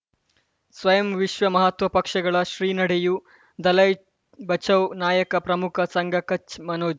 ಸ್ವಯಂ ವಿಶ್ವ ಮಹಾತ್ವ ಪಕ್ಷಗಳು ಶ್ರೀ ನಡೆಯೂ ದಲೈ ಬಚೌ ನಾಯಕ ಪ್ರಮುಖ ಸಂಘ ಕಚ್ ಮನೋಜ್